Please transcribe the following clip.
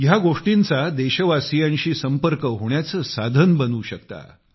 ह्या गोष्टींचा देशवासीयांशी संपर्क होण्याचे साधन बनू शकता